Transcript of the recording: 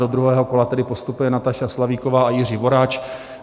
Do druhého kola tedy postupuje Nataša Slavíková a Jiří Voráč.